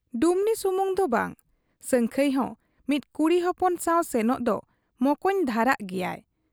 ᱰᱩᱢᱱᱤ ᱥᱩᱢᱩᱝ ᱫᱚ ᱵᱟᱝ, ᱥᱟᱹᱝᱠᱷᱟᱹᱭ ᱦᱚᱸ ᱢᱤᱫ ᱠᱩᱲᱤ ᱦᱚᱯᱚᱱ ᱥᱟᱶ ᱥᱮᱱᱚᱜ ᱫᱚ ᱢᱚᱠᱚᱧ ᱫᱷᱟᱨᱟᱜ ᱜᱮᱭᱟᱭ ᱾